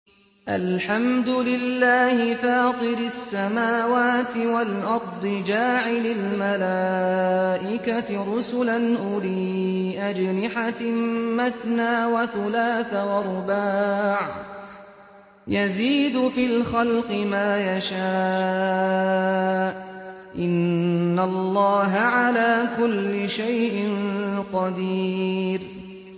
الْحَمْدُ لِلَّهِ فَاطِرِ السَّمَاوَاتِ وَالْأَرْضِ جَاعِلِ الْمَلَائِكَةِ رُسُلًا أُولِي أَجْنِحَةٍ مَّثْنَىٰ وَثُلَاثَ وَرُبَاعَ ۚ يَزِيدُ فِي الْخَلْقِ مَا يَشَاءُ ۚ إِنَّ اللَّهَ عَلَىٰ كُلِّ شَيْءٍ قَدِيرٌ